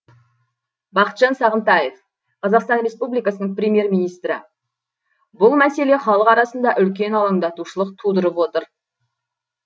бақытжан сағынтаев қазақстан республикасының премьер министрі бұл мәселе халық арасында үлкен алаңдаушылық тудырып отыр